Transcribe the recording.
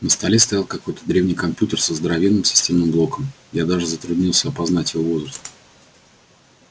на столе стоял какой-то древний компьютер со здоровенным системным блоком я даже затруднился опознать его возраст